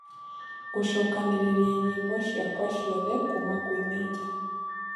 Gucokaniriria nyĩmbo cĩakwa cĩothe kũma kwi mejja